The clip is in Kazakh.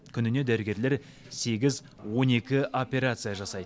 күніне дәрігерлер сегіз он екі операция жасайды